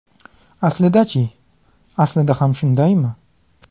Aslida-chi: aslida ham shundaymi?